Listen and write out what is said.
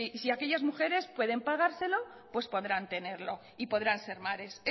si aquellas mujeres pueden pagárselo y podrán ser madres